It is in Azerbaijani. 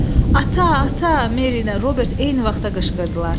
Ata, ata, Meri ilə Robert eyni vaxtda qışqırdılar.